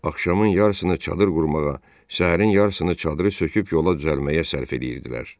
Axşamın yarısını çadır qurmağa, səhərin yarısını çadırı söküb yola düzəlməyə sərf eləyirdilər.